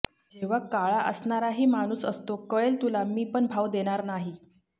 जेव्हा काळा असणाराही माणूस असतो कळेल तुला मी पण भाव देणार नाही